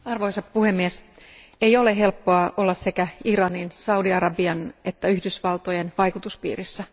Arvoisa puhemies, ei ole helppoa olla sekä Iranin, Saudi Arabian että Yhdysvaltojen vaikutuspiirissä.